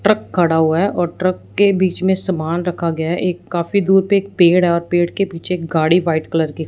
Truck खड़ा हुआ है और ट्रक के बीच में समान रखा गया है। एक काफी दूर पे एक पेड़ और पेड़ के पीछे गाड़ी वाइट कलर की--